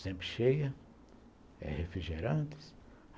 Sempre cheia, refrigerantes.